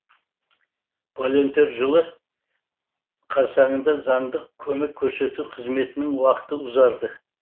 волонтер жылы қарсаңында заңдық көмек көрсету қызметінің уақыты ұзарды